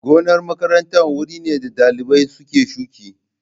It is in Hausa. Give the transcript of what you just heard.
Gonar makaranta wuri ne da dalibai suke shuka.